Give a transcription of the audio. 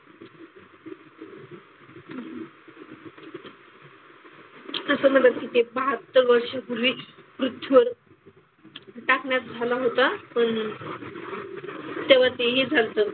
असं म्हंटलं जातं तिथे बहात्तर वर्षांपूर्वी पृथ्वीवर उल्कापात झालं होतं पण तेव्हा ते हे झाल्त.